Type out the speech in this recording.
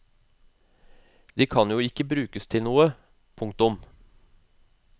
De kan jo ikke brukes til noe. punktum